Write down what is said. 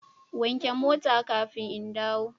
Wanke mota kafin in dawo